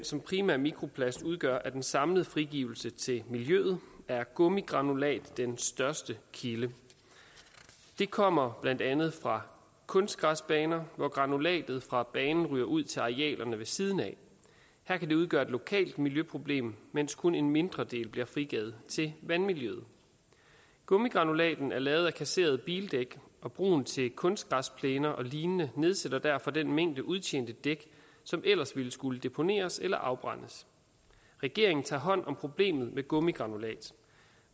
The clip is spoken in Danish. som primær mikroplast udgør af den samlede frigivelse til miljøet er gummigranulat den største kilde det kommer blandt andet fra kunstgræsbaner hvor granulatet fra banen ryger ud til arealerne ved siden af her kan det udgøre et lokalt miljøproblem mens kun en mindre del bliver frigivet til vandmiljøet gummigranulaten er lavet af kasserede bildæk og brugen til kunstgræsplæner og lignende nedsætter derfor den mængde udtjente dæk som ellers ville skulle deponeres eller afbrændes regeringen tager hånd om problemet med gummigranulat